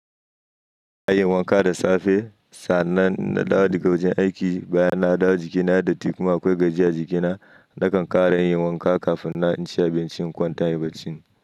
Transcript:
Yin wanka da safe, sannan na dawo daga wajen aiki, baya na dawo jikina da datti kuma akwai gajiya jikina, nakan ƙara yin wanka kafin na ci abincin kwantai barcin.